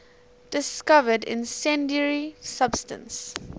discovered incendiary substance